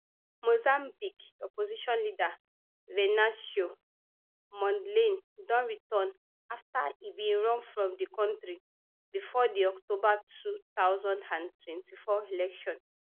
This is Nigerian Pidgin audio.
mozambique opposition leader venancio mondlane don return afta e bin run from di kontri bifor di october two thousand and twenty-four election